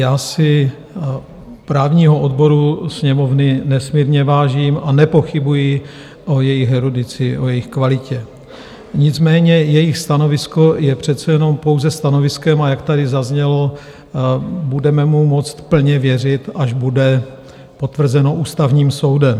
Já si právního odboru sněmovny nesmírně vážím a nepochybuji o jejich erudici, o jejich kvalitě, nicméně jejich stanovisko je přece jenom pouze stanoviskem, a jak tady zaznělo, budeme mu moci plně věřit, až bude potvrzeno ústavním soudem.